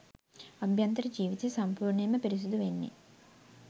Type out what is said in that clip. අභ්‍යන්තර ජීවිතය සම්පූර්ණයෙන්ම පිරිසිදු වෙන්නෙ.